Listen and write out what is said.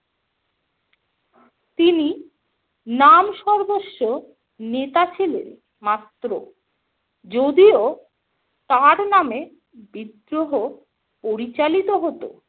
তিনি নামসর্বস্ব নেতা ছিলেন মাত্র যদিও তার নামে বিদ্রোহ পরিচালিত হতো।